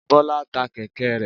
Bọ́lá ta kẹ̀kẹ́ rẹ̀.